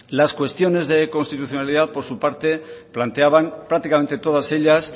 las cuestiones de constitucionalidad por su parte planteaban prácticamente todas ellas